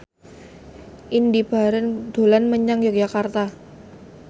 Indy Barens dolan menyang Yogyakarta